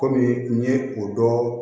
Kɔmi n ye o dɔn